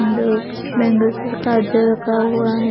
Bangle bangles र काजर रखा हुआ है ।